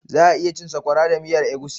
Za 'a iya cin Sakwara da miyan egusi.